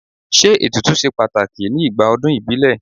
Ṣé ètùtù ṣe pàtàkì ní igbà ọdún ìbílẹ̀?